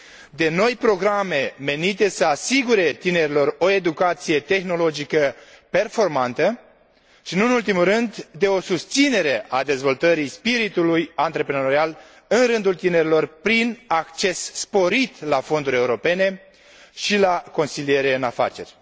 de noi programe menite să le asigure tinerilor o educație tehnologică performantă și, nu în ultimul rând, de o susținere a dezvoltării spiritului antreprenorial în rândul tinerilor, prin acces sporit la fonduri europene și la consiliere în afaceri.